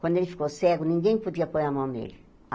Quando ele ficou cego, ninguém podia pôr a mão nele.